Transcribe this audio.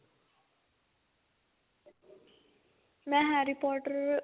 ਮੈਂ harry potter